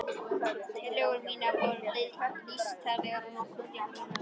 Tillögur mínar voru nýstárlegar og nokkuð djarflegar.